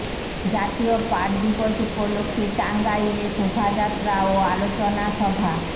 জাতীয় পাট দিবস উপলক্ষে টাঙ্গাইলে শোভাযাত্রা ও আলোচনা সভা